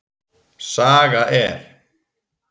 Saga er.